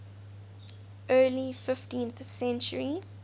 early fifteenth century